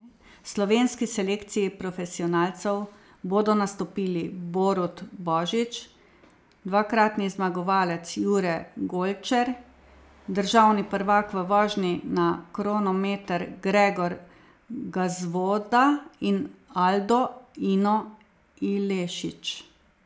V slovenski selekciji profesionalcev bodo nastopili Borut Božič, dvakratni zmagovalec Jure Golčer, državni prvak v vožnji na kronometer Gregor Gazvoda in Aldo Ino Ilešič.